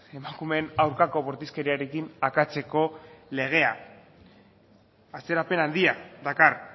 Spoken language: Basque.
emakumeen aurkako bortizkeriarekin akatseko legea atzerapen handia dakar